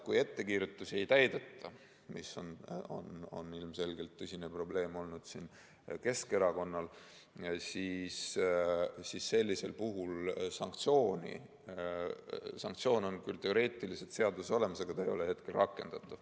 Kui ettekirjutusi ei täideta, mis on ilmselgelt olnud Keskerakonna tõsine probleem, siis sellisel juhul on sanktsioon küll teoreetiliselt seaduses olemas, aga see ei ole rakendatav.